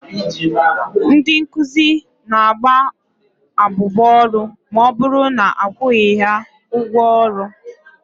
Ndị nkụzi na-agba abụba ọrụ ma ọbụrụ na akwụghị ha ụgwọ ọrụ.